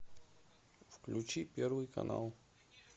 включи первый канал